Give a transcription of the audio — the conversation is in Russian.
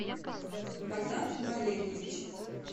богдан валерьевич